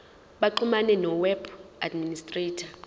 baxhumane noweb administrator